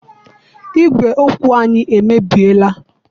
Igwè okwu anyị emebiela.